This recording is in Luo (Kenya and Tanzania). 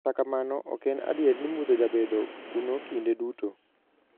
Kata kamano, oken adier ni mudho jabedo kuno kinde duto.